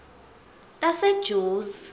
tasejozi